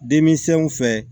Denmisɛnw fɛ